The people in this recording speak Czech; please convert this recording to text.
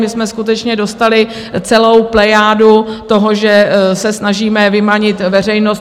My jsme skutečně dostali celou plejádu toho, že se snažíme vymanit veřejnost.